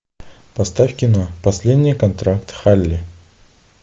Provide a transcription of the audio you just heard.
поставь кино последний контракт халли